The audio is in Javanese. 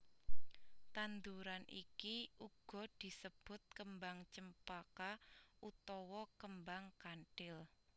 Tanduran iki uga disebut Kembang Cempaka utawa Kembang Kanthil